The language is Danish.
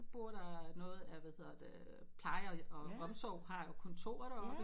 Bor der noget af hvad hedder det øh plejer og omsorg har jo kontor der oppe